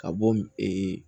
Ka bɔ ee